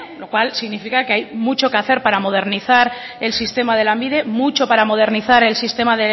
lo cual significa que hay mucho que hacer para modernizar el sistema de lanbide mucho para modernizar el sistema